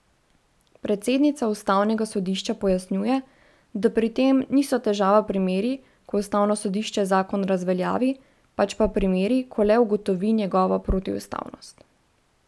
Predsednica ustavnega sodišča pojasnjuje, da pri tem niso težava primeri, ko ustavno sodišče zakon razveljavi, pač pa primeri, ko le ugotovi njegovo protiustavnost.